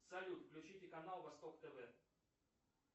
салют включите канал восток тв